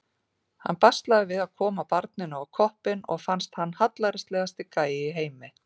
Hann baslaði við að koma barninu á koppinn og fannst hann hallærislegasti gæi í heimi.